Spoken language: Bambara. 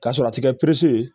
K'a sɔrɔ a ti kɛ ye